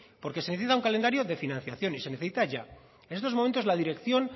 porque se necesita un calendario de financiación y se necesita ya en estos momentos la dirección